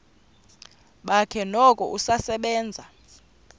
bakhe noko usasebenza